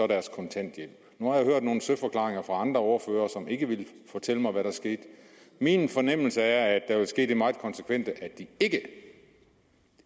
deres kontanthjælp nu har jeg hørt nogle søforklaringer fra andre ordførere som ikke ville fortælle hvad der sker min fornemmelse er at der vil ske det meget konsekvente at de